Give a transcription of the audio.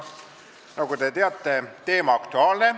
Nagu te teate, teema on aktuaalne.